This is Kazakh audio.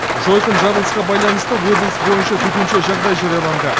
жойқын жарылысқа байланысты облыс бойынша төтенше жағдай жарияланды